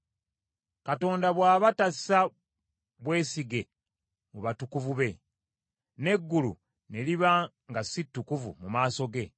Katonda bw’aba tassa bwesige mu batukuvu be, n’eggulu ne liba nga si ttukuvu mu maaso ge,